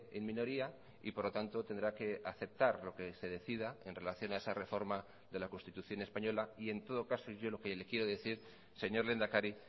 en minoría y por lo tanto tendrá que aceptar lo que se decida en relación a esa reforma de la constitución española y en todo caso yo lo que le quiero decir señor lehendakari